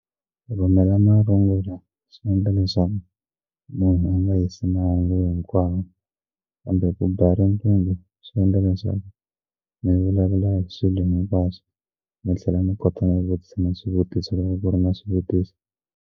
Rhumela marungulo swi endla leswaku munhu a nga hisi mahungu hinkwawo kambe ku ba riqingho swi endla leswaku mi vulavula hi swilo mi va se mi tlhela mi kota ku vutisa swivutiso loko ku ri na swivutiso.